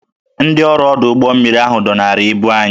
Ndị ọrụ ọdụ ụgbọ mmiri dọnara ibu anyị